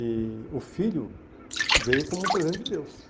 E o filho veio como um presente de Deus.